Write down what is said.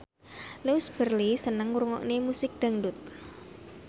Louise Brealey seneng ngrungokne musik dangdut